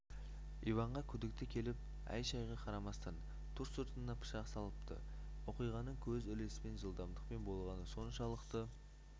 иванға күдікті келіп әй-шайға қарамастан ту сыртынан пышақ салыпты оқиғаның көз ілеспес жылдамдықпен болғаны соншалықты